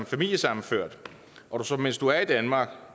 familiesammenført og du så mens du er i danmark